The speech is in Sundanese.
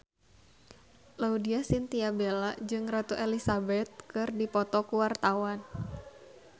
Laudya Chintya Bella jeung Ratu Elizabeth keur dipoto ku wartawan